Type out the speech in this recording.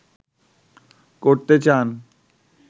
করতে চান